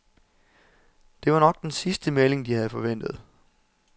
Det var nok den sidste melding de havde forventet.